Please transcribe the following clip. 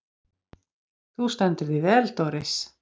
Þú stendur þig vel, Doris!